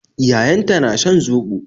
Yayanta na shan zobo.